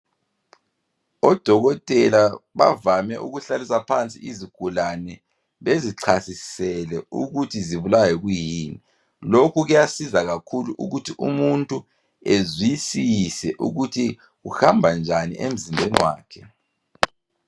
Odokotela bavame ukuhlalisa phansi izigulane bezichasisele ukuthi zibulawa yikuyini. Lokhu kuyasiza kakhulu ukuthi umuntu ezwisise ukuthi kuhamba njani emzimbeni wakhe.